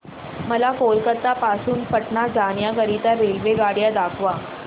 मला कोलकता पासून पटणा जाण्या करीता रेल्वेगाड्या दाखवा